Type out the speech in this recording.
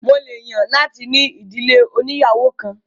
Mo lè yàn láti ní ìdílé òníyàwó kan